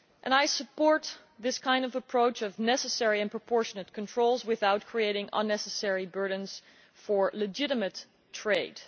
I support this kind of approach of necessary and proportionate controls without creating unnecessary burdens for legitimate trade.